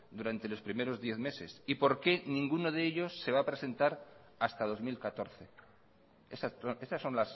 durante los primeros diez meses y por qué ninguno de ellos se va a presentar hasta dos mil catorce estas son